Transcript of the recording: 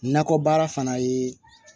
Nakɔ baara fana ye